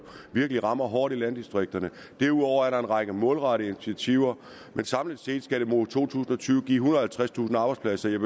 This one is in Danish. virkelig rammer hårdt i landdistrikterne derudover er der en række målrettede initiativer men samlet set skal det mod to tusind og tyve give og halvtredstusind arbejdspladser jeg